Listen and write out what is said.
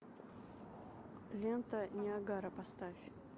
лента ниагара поставь